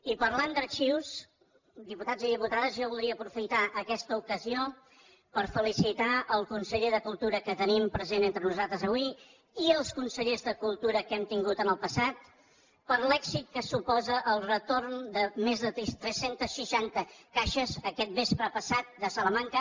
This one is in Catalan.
i parlant d’arxius diputats i diputades jo voldria aprofitar aquesta ocasió per felicitar el conseller de cultura que tenim present entre nosaltres avui i els consellers de cultura que hem tingut en el passat per l’èxit que suposa el retorn de més de tres cents i seixanta caixes aquest vespre passat de salamanca